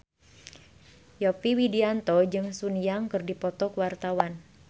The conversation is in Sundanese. Yovie Widianto jeung Sun Yang keur dipoto ku wartawan